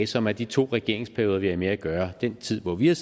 som er de to regeringsperioder vi har med at gøre den tid hvor vi har